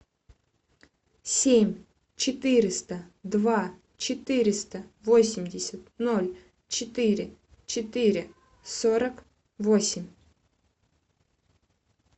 семь четыреста два четыреста восемьдесят ноль четыре четыре сорок восемь